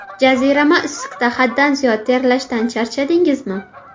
Jazirama issiqda haddan ziyod terlashdan charchadingizmi?